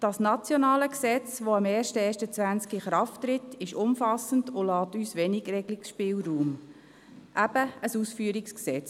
Das nationale Gesetz, welches am 01.01.2020 in Kraft tritt, ist umfassend und lässt uns wenig Regungsspielraum, daher eben ein Ausführungsgesetz.